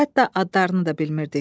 Hətta adlarını da bilmirdik.